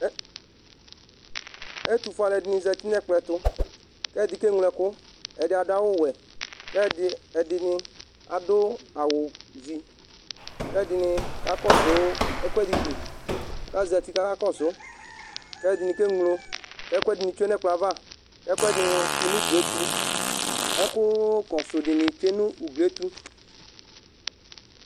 ɛtu fue alu ɛdini za nu ɛkplɔɛ tu, k'ɛdi ke ɣlo ɛku adu awu wɛ, k'ɛdi, ɛdini adu awu zi, k'ɛdini ka'kɔsu ɛkuɛdi li, k'azati kaka kɔsu k'ɛdini ke ɣlo ɛku tsʋe nu ɛkplɔɛ ava, ɛku ɛdini kɔ nu uglietu, ɛku kɔsu dini tsʋe nu uglietu